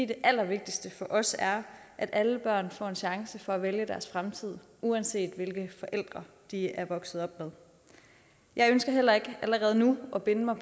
det allervigtigste for os er at alle børn får en chance for at vælge deres fremtid uanset hvilke forældre de er vokset op med jeg ønsker heller ikke allerede nu at binde mig